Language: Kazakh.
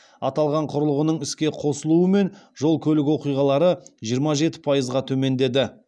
аталған құрылғының іске қосылуымен жол көлік оқиғалары жиырма жеті пайызға төмендеді